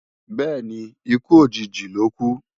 Bẹ́ẹ̀ni, ikú òjijì lókú